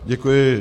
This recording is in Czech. Děkuji.